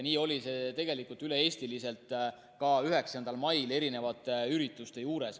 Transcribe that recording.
Nii oli see tegelikult üle Eesti ka 9. mail eri ürituste puhul.